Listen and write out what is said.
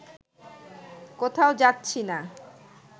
কোথাও যাচ্ছি না